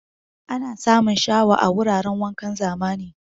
Ana samun shawa a wuraran wankan zamani.